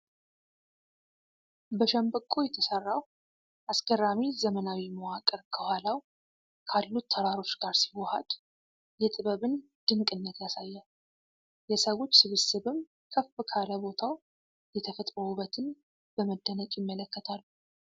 በሸምበቆ የተሰራው አስገራሚ ዘመናዊ መዋቅር ከኋላው ካሉት ተራሮች ጋር ሲዋሃድ የጥበብን ድንቅነት ያሳያል። የሰዎች ስብስብም ከፍ ካለ ቦታው የተፈጥሮ ውበትን በመደነቅ ይመለከታሉ።